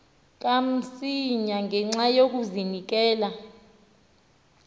kamsinya ngenxa yokazinikela